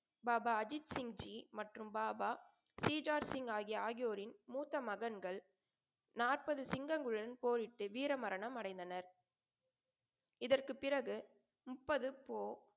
பாபா அஜித் சிங்ஜி மற்றும் பாபா சீஜாத்சிங் ஆகியோரின் மூத்த மகன்கள் நாற்பது சிங்கங்களுடன் போரிட்டு வீர மரணம் அடைந்தனர். இதற்குப் பிறகு முப்பது போ,